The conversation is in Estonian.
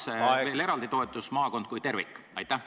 ... sh veel eraldi toetus maakonnale kui tervikule.